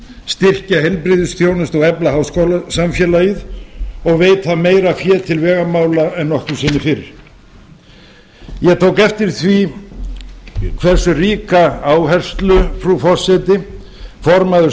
styrkja heilbrigðisþjónustu og efla háskólasamfélagið og veita meira fé til vegamála en nokkru sinni fyrr ég tók eftir því hversu ríka áherslu frú forseti formaður